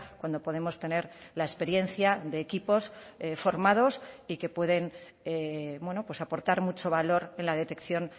cuando podemos tener la experiencia de equipos formados y que pueden aportar mucho valor en la detección